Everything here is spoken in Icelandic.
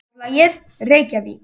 Forlagið: Reykjavík.